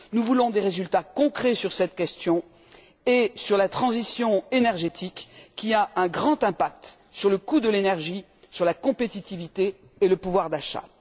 Nous voulons des résultats concrets sur cette question et sur la transition énergétique, qui a une grande incidence sur le coût de l'énergie, sur la compétitivité et le pouvoir d'achat.